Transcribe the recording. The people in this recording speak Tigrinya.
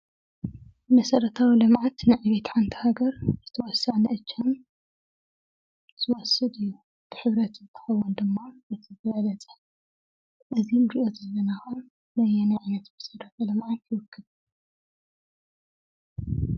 መሰረታዊ ልምዓት ንዕቤት ሓንቲ ሃገር ዝተወሰነ እጃም ዝወስድ እዩ። ብሕብረት ክከውን ድማ ዝበለፀ እዚ እንሪኦ ዘለና ከዓ ነየናይ መሰረተ ልምዓት ይውክል ?